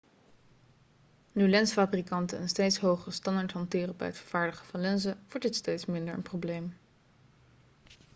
nu lensfabrikanten een steeds hogere standaard hanteren bij het vervaardigen van lenzen wordt dit steeds minder een probleem